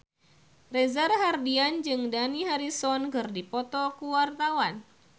Reza Rahardian jeung Dani Harrison keur dipoto ku wartawan